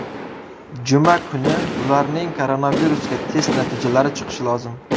Juma kuni ularning koronavirusga test natijalari chiqishi lozim.